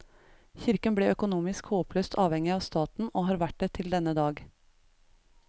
Kirken ble økonomisk håpløst avhengig av staten og har vært det til denne dag.